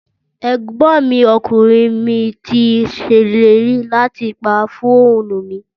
Ẹ̀gbọ́n mi ọkùnrin mi ti ṣèlérí láti pàrọ̀ fóònù mi